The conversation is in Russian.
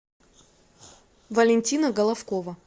валентина головкова